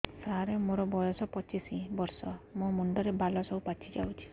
ସାର ମୋର ବୟସ ପଚିଶି ବର୍ଷ ମୋ ମୁଣ୍ଡରେ ବାଳ ସବୁ ପାଚି ଯାଉଛି